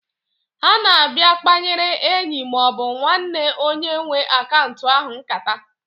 Ha na-abịa kpanyewere enyi maọbụ nwanne onye nwe akaunt ahụ nkata.